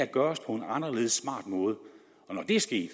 gøres på en anderledes smart måde når det er sket